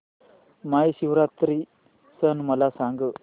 महाशिवरात्री सण मला सांग